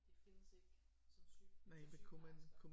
Det findes ikke som syge som sygeplejerske